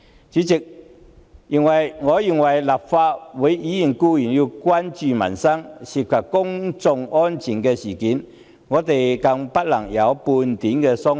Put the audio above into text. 主席，我認為立法會議員固然要關注民生，對於關乎公眾安全的事件更不能有半點鬆懈。